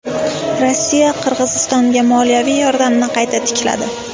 Rossiya Qirg‘izistonga moliyaviy yordamni qayta tikladi.